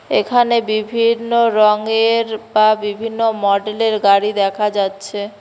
এখানে বিভিন্ন রঙের বা বিভিন্ন মডেল -এর গাড়ি দেখা যাচ্ছে।